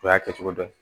O y'a kɛcogo dɔ ye